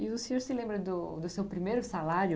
E o senhor se lembra do do seu primeiro salário?